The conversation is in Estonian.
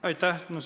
Aitäh!